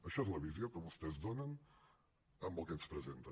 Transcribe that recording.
això és la visió que vostès donen amb el que ens presenten